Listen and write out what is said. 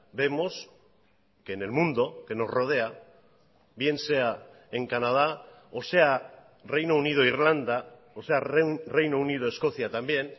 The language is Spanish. vemos que en el mundo que nos rodea bien sea en canadá o sea reino unido irlanda o sea reino unido escocia también